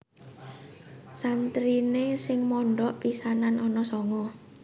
Santriné sing mondhok pisanan ana sanga